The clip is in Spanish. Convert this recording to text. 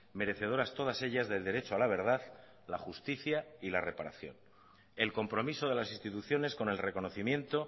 merecedoras todas ellas del derecho a la verdad la justicia y la reparación el compromiso de las instituciones con el reconocimiento